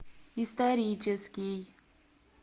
исторический